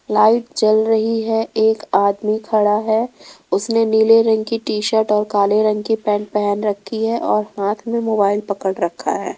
Light जल रही है एक आदमी खड़ा है उसने नीले रंग की टी शर्ट और काले रंग की पैंट पेहन रखी है और हाथ में मोबाइल पकड़ रखा है।